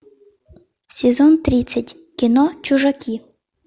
сезон тридцать кино чужаки